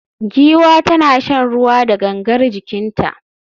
Giwa tana shan ruwa da gangar jikinta